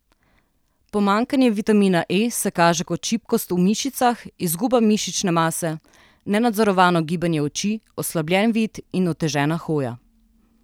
Pomanjkanje vitamina E se kaže kot šibkost v mišicah, izguba mišične mase, nenadzorovano gibanje oči, oslabljen vid in otežena hoja.